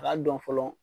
A k'a dɔn fɔlɔ